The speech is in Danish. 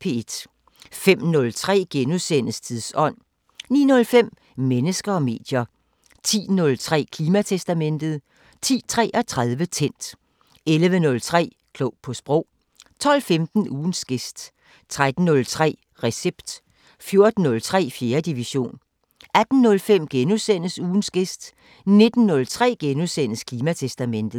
05:03: Tidsånd * 09:05: Mennesker og medier 10:03: Klimatestamentet 10:33: Tændt 11:03: Klog på Sprog 12:15: Ugens gæst 13:03: Recept 14:03: 4. division 18:05: Ugens gæst * 19:03: Klimatestamentet *